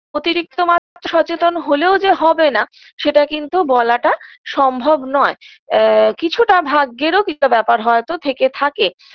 অতিরিক্ত মাত্রা সচেতন হলেও যে হবে না সেটা কিন্তু বলাটা সম্ভব নয় এ কিছুটা ভাগ্যেরও ব্যাপার হয়তো থেকে থাকে